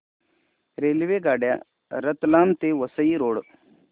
रेल्वेगाड्या रतलाम ते वसई रोड